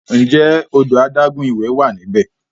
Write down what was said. Ǹjẹ́ odò adágún ìwẹ̀ wà níbẹ̀?